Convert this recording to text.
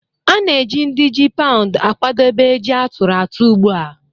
A na-eji ndị ji paụ̀ akwadebe ji a tụrụ atụ̀ ugbu a